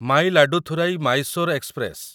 Mayiladuthurai Mysore express